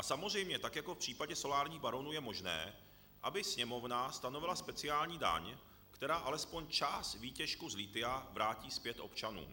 A samozřejmě tak jako v případě solárních baronů je možné, aby Sněmovna stanovila speciální daň, která alespoň část výtěžku z lithia vrátí zpět občanům.